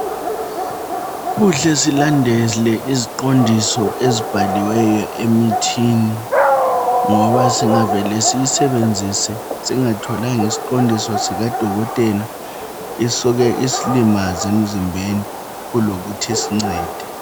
Kuhle silandele iziqondiso ezibhaliweyo emithini ngoba singavele siyisebenzise singatholanga isiqondiso sikadokotela isuke isilimaze emzimbeni kulokuthi isincede.